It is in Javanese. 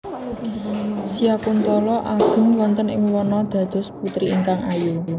Syakuntala ageng wonten ing wana dados putri ingkang ayu